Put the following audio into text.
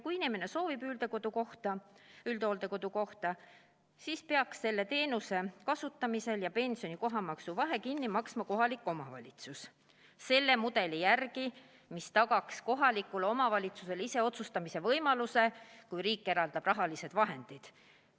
Kui inimene soovib üldhooldekodukohta, siis peaks selle teenuse kasutamisel pensioni ja kohamaksu vahe kinni maksma kohalik omavalitsus, selle mudeli järgi, mis tagaks kohalikule omavalitsusele iseotsustamise võimaluse, kui riik eraldab rahalised vahendid.